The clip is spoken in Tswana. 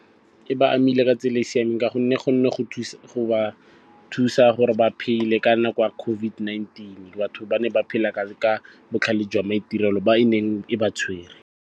E ba amile ka tsela e siameng ka gonne gone go ba thusa gore ba phele ka nako ya COVID-19. Batho ba ne ba phela ka botlhale jwa maitirelo ba e neng e ba tshwere.